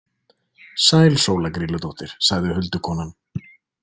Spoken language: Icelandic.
„Sæl Sóla Grýludóttir“ , sagði huldukonan.